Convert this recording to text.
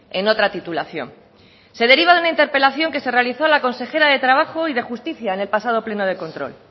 en otra titulación se deriva de una interpelación que se realizó a la consejera de trabajo y de justicia en el pasado pleno de control